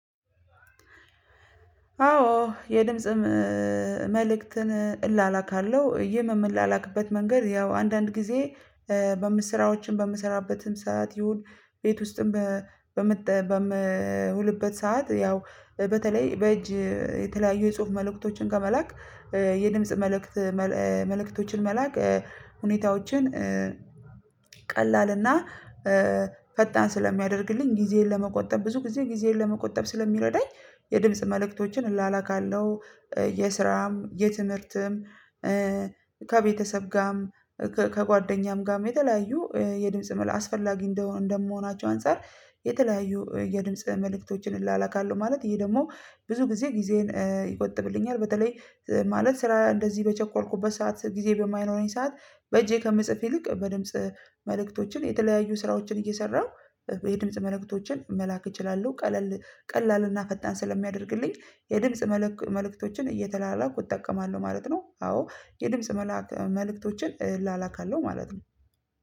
አዎ የድምጽ መልእክትን እላላካለሁ ይህም የምላላክበት መንገድ ያው አንዳንድ ጊዜ በምስራዎችም በምሰራበትም ሰዓት ይሁን ቤት ውስጥም በምት በምውልበት ሰዓት ያው በተለይ በእጅ የተለያዩ የጽሁፍ መልእክቶችን ከመላክ የድምጽ መልእክት መልእክቶችን መላክ ሁኔታዎችን ቀላልና ፈጣን ስለሚያደርግልኝ ጊዜዬን ለመቆጠብ ብዙ ጊዜ ጊዜዬን ለመቆጠብ ስለሚረዳኝ የድምጽ መልእክቶችን እላላካለው። የስራም የትምህርትም ከቤተሰብ ጋርም ከጓደኛም ጋም የተለያዩ የድምጽ መላ አስፈላጊ እንደመሆናቸው አንፃር የተለያዩ የድምጽ መልእክቶችን እላላካለሁ ማለት ይሄ ደግሞ ብዙ ጊዜ ጊዜዬን ይቆጥብልኛል። በተለይ ማለት ስራ እንደዚህ በቸኮልኩበት ሰዓት ጊዜ በማይኖረኝ ሰዓት በእጄ ከምጽፍ ይልቅ በድምጽ መልእክቶችን የተለያዩ ስራዎችን እየሰራሁ የድምጽ መልእክቶችን መላክ እችላለሁ ቀለል ቀላልና ፈጣን ስለሚያደርግልኝ የድምጽ መልእክት መልእክቶችን እየተላላኩ እጠቀማለሁ ማለት ነው። አዎ የድምጽ መልእክቶችን እላላካለሁ ማለት ነው።